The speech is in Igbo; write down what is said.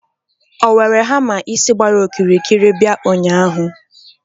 o were hamma isi gbara okirikiri bia ụnyahụ?